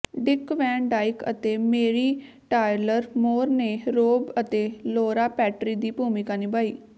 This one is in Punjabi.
ਡਿਕ ਵੈਨ ਡਾਇਕ ਅਤੇ ਮੈਰੀ ਟਾਇਲਰ ਮੋਰ ਨੇ ਰੋਬ ਅਤੇ ਲੌਰਾ ਪੈਟਰੀ ਦੀ ਭੂਮਿਕਾ ਨਿਭਾਈ